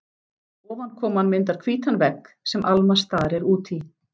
Ofankoman myndar hvítan vegg, sem Alma starir út í.